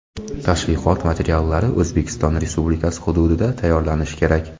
Tashviqot materiallari O‘zbekiston Respublikasi hududida tayyorlanishi kerak.